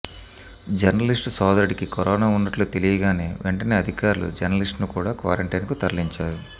journalist సోదరుడికి corona ఉన్నట్లు తెలియగానే వెంటనే అధికారులు జర్నలిస్టును కూడా క్వారంటైన్కు తరలించారు